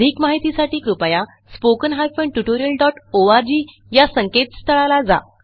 अधिक माहितीसाठी कृपया spoken hyphen tutorial dot ORG या संकेतस्थळाला जा